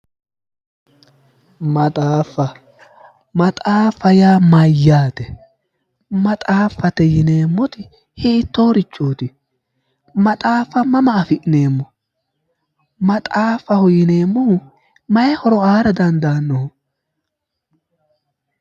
Maxaaffa maxaaffa yaa mayyaate maxaaffate yineemmori hiittoorichooti maxaaffa mama afi'neemmo maxaafaho yineemmohu mayi horo aara dandaannoho